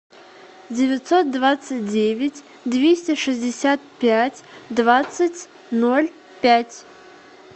девятьсот двадцать девять двести шестьдесят пять двадцать ноль пять